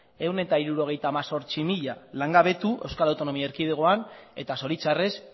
ehun eta hirurogeita hemezortzi mila langabetu euskal autonomia erkidegoan eta zoritxarrez